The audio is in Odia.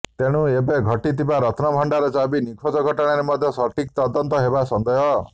ତେଣୁ ଏବେ ଘଟିଥିବା ରତ୍ନଭଣ୍ଡାର ଚାବି ନିଖୋଜ ଘଟଣାର ମଧ୍ୟ ସଠିକ୍ ତଦନ୍ତ ହେବା ସନ୍ଦେହ